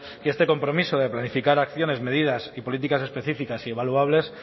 que este compromiso de planificar acciones medidas y políticas específicas y evaluables